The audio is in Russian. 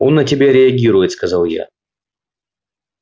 он на тебя реагирует сказал я